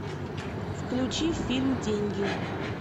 включи фильм деньги